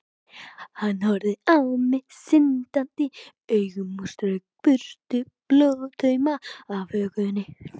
Hann horfði á mig syndandi augum og strauk burtu blóðtauma af hökunni.